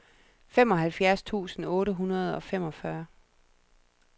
femoghalvfjerds tusind otte hundrede og femogfyrre